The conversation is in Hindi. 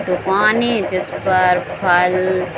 दुकानें जिस पर फल --